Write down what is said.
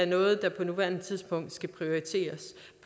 noget der på nuværende tidspunkt skal prioriteres